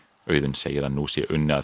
Auðunn segir að nú sé unnið að